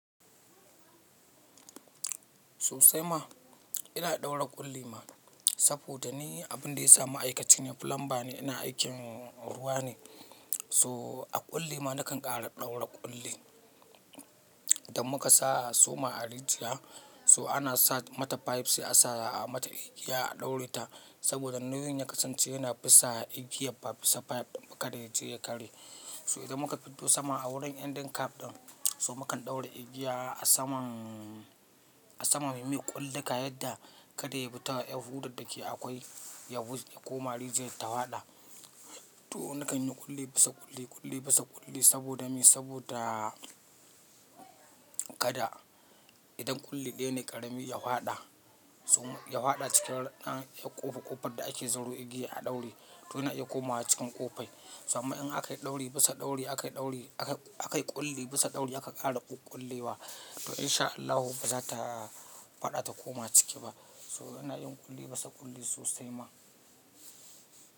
Sosai ma, ina ɗaura ƙulli ma, saboda ni abun da ya sa ma'aikaci ne, plumber ne, ina aikin ruwa ne, So, a ƙulli ma nakan ƙara ɗaura ƙulli. Idan muka sa suma a rijiya, so ana sa mata pipes sai a sa a mata igiya a ɗaure ta, saboda nauyin ya kasance yana bisa igiyan ba bisa pipe ɗin ba kada ya je ya karye. So idan muka fiddo saman a wurin ending cap ɗin, so mukan ɗaura igiya a saman, a saman mu mai ƙulluka, yadda kada ya bi ta ƴar hudar da ke akwai, ya bi, ya ko ma rijiyar ta hwada. To nakan yi ƙulli bisa ƙulli, ƙulli bisa ƙulli saboda me? Saboda, kada idan ƙulli ɗaya ne ƙarami ya haɗa, ya haɗa cikin ɗan, ƴar ƙofa-ƙofar da ake zuro igiya a ɗaure, toh yana iya komawa cikin ƙofai. To amma in aka yi ɗauri bisa ɗauri, aka yi ɗauri, akai ƙulli bisa ɗauri aka ƙara ƙullewa, to in sha Allahu ba za ta faɗa ta koma ciki ba. So ina yin ƙulli bisa ƙulli sosai ma.